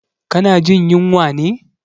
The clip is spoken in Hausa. Ka na jin yunwa ne?